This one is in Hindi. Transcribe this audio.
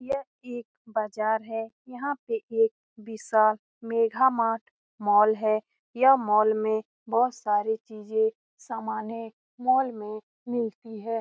ये एक बाजार है यहाँ पे एक विशाल मेगा मार्ट मॉल है | यह मॉल में बहुत सारी चीजे सामाने मॉल में मिलती है ।